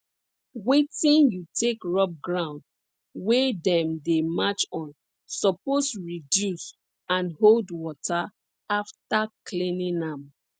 wetin you take rub ground wey dem dey march on suppose reduce and hold water after cleaning am